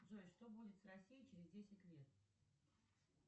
джой что будет с россией через десять лет